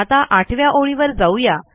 आता आठव्या ओळीवर जाऊ या